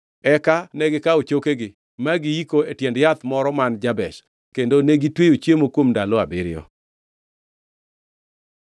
Eka negikawo chokegi ma giyiko e tiend yath moro man Jabesh, kendo negitweyo chiemo kuom ndalo abiriyo.